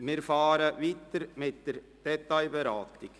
Wir fahren weiter mit der Detailberatung.